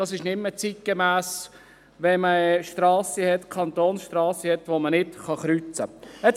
Ich denke, es ist nicht mehr zeitgemäss, Kantonsstrassen zu haben, auf denen man nicht kreuzen kann.